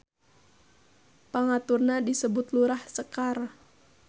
Pangaturna disebut Lurah Sekar.